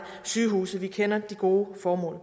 sygehuse vi kender de gode formål